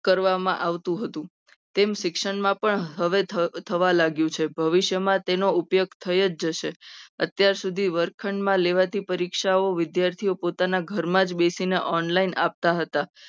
કરવા માં આવતું હતું. એમ શિક્ષકમાં પણ હવે થવા લાગ્યું છે. ભવિષ્યમાં તેનો ઉપયોગ થઈ જ જશે. અત્યાર સુધી વર્ગખંડમાં લેવાથી પરીક્ષાઓ વિદ્યાર્થીઓ પોતાના ઘરમાં જ બેસીને online આપતા હતા.